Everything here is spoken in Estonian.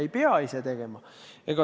Ei pea ise tegema.